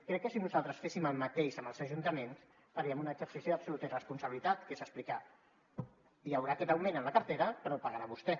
crec que si nosaltres féssim el mateix amb els ajuntaments faríem un exercici d’absoluta irresponsabilitat que és explicar hi haurà aquest augment en la cartera però pagarà vostè